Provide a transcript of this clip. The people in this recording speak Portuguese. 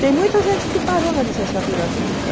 Tem muita gente que parou na licenciatura curta.